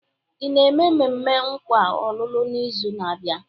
Ị na-eme mmemme nkwa ọlụlụ n'izu na-abịa?